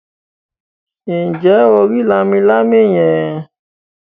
Ǹjẹ́ o rí “ lámilámi ” yẹn.?